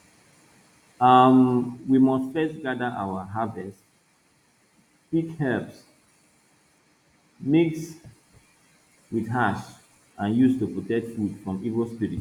um we must first gather our harvest pick herbs mix with ash and use to protect food from evil spirits